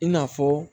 I n'a fɔ